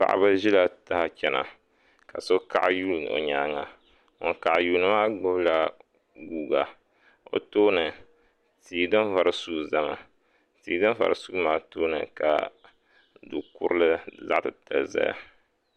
Paɣiba zila taha n chiɛna ka so kaɣiyuli o yɛanga ŋuni kaɣi yuli maa gbubi la guuka bi tooni tii din vari sugi zami tii di vari sui maa tooni du kurili zaɣi titali zaya.